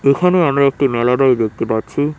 এখানে আমরা একটি মেলারয় দেখতে পাচ্ছি।